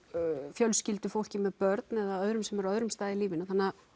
fjölskyldufólki með börn eða öðrum sem eru á öðrum stað í lífinu þannig